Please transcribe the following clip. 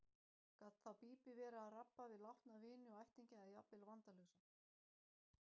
Gat þá Bíbí verið að rabba við látna vini og ættingja eða jafnvel vandalausa.